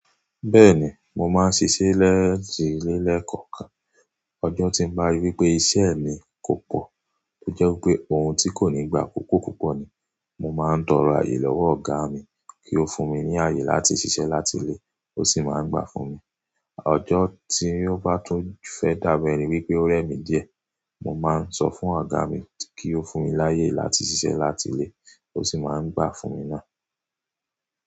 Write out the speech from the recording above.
Bẹ́ẹ̀ni, mo máa ń sise létile lẹ̀ kọ̀ọ̀kan. Ọjọ́ tí n bá rí wípé iṣẹ́ mi kò pọ̀, tó jẹ́ wípé òun tí kò ní gbà akoko púpọ̀ ni, mo máa ń tọrọ àyè lọ́wọ́ ọ̀gá mi kí ó fún mi ní àyè láti ṣiṣẹ́ láti ilé, ó sì máa ń gbà fún mi. Ọjọ́ tí ó bá tún fẹ́ dàbẹ́ ní wípé ó rẹ́ mi díẹ̀, mo máa ń sọ fún ọ̀gá mi kí ó fún mi láyè láti ṣiṣẹ́ láti ilé, ó sì máa ń gbà fún mi náà.